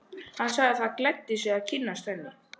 Hann sagði það gleddi sig að kynnast henni.